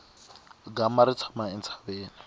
gama ri tshama entshaveni